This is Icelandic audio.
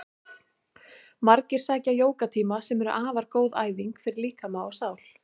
Margir sækja jógatíma sem eru afar góð æfing fyrir líkama og sál.